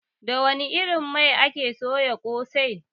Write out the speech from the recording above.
Da wani irin mai ake soya kose?